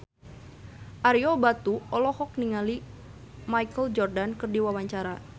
Ario Batu olohok ningali Michael Jordan keur diwawancara